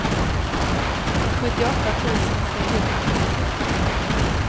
sjuttioåtta tusen trehundranittio